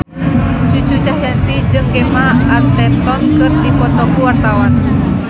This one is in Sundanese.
Cucu Cahyati jeung Gemma Arterton keur dipoto ku wartawan